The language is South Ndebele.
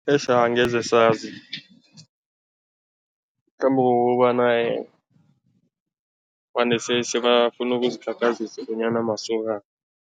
Eish angeze sazi mhlambe kukobana vane sebafuna ukuzikhakhazisa bonyana masokana.